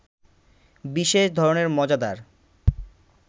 বিশেষ ধরনের মজাদার